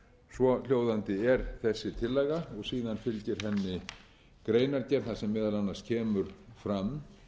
svohljóðandi er þessi tillaga og síðan fylgir henni greinargerð þar sem meðal annars kemur fram